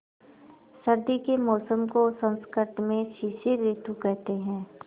सर्दी के मौसम को संस्कृत में शिशिर ॠतु कहते हैं